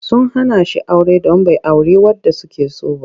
Sun hana shi aure don bai auri wadda suke so ba.